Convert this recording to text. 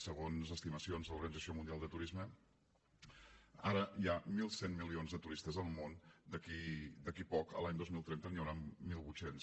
segons estimacions de l’organització mundial del turisme ara hi ha mil cent milions de turistes al món d’aquí a poc l’any dos mil trenta n’hi hauran mil vuit cents